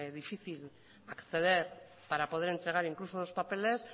difícil acceder para poder entregar incluso unos papeles